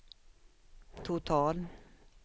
total